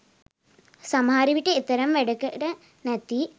සමහර විට එතරම් වැඩකට නැති